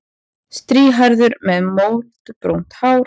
Strýhærður með moldbrúnt hár.